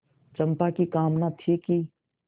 चंपा की कामना थी कि